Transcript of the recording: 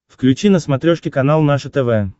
включи на смотрешке канал наше тв